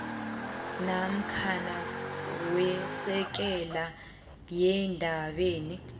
namkha wesekela eendabeni